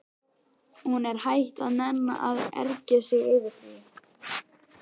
Hún er hætt að nenna að ergja sig yfir því.